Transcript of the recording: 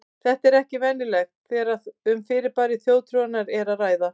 Þetta er ekki venjulegt þegar um fyrirbæri þjóðtrúarinnar er að ræða.